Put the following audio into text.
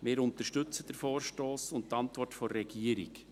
Wir unterstützen den Vorstoss und die Antwort der Regierung.